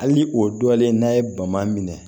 Hali o dɔlen n'a ye bama minɛ